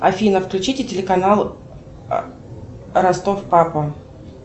афина включите телеканал ростов папа